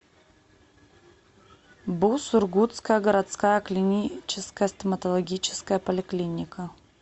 бу сургутская городская клиническая стоматологическая поликлиника